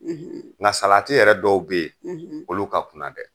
nka salati yɛrɛ dɔw be ye, olu ka kuna dɛ.